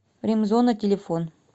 ремзона телефон